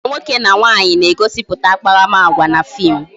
Agwa nwoke na nwaanyị na-egosiputa akparamagwa na fim